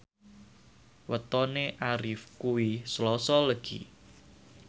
wetone Arif kuwi Selasa Legi